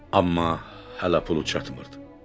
Amma hələ pulu çatmırdı.